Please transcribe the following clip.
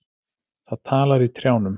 Það talar í trjánum.